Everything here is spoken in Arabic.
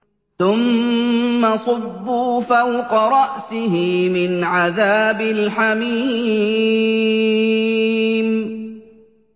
ثُمَّ صُبُّوا فَوْقَ رَأْسِهِ مِنْ عَذَابِ الْحَمِيمِ